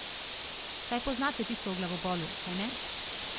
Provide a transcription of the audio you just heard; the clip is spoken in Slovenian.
Saj poznate tisto o glavobolu, kajne?